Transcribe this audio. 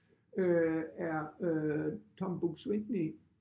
Øh er øh Tom Buk-Swienty